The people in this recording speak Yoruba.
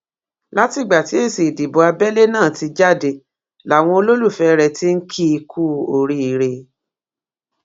látìgbà tí èsì ìdìbò abẹlé náà ti jáde làwọn olólùfẹ rẹ tí n kì í kú oríire